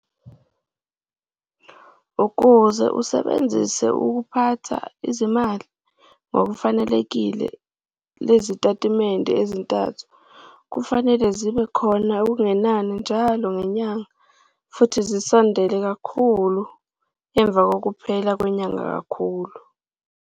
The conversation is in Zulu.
Ukuze usebenzise ukuphatha izimali ngokufanelekile lezitatimende ezintathu kufanele zibe khona okungenani njalo ngenyanga futhi zisondele kakhulu emva kokuphela kwenyanga kakhulu.